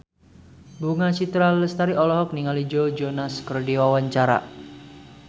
Bunga Citra Lestari olohok ningali Joe Jonas keur diwawancara